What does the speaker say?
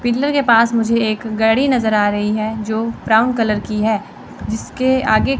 Pillar के पास मुझे एक गाड़ी नजर आ रही है जो ब्राउन कलर की है। जिसके आगे--